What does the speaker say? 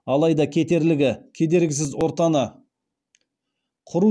айта кетерлігі кедергісіз ортаны құру